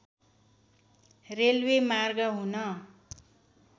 railway मार्ग हुन